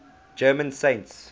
german saints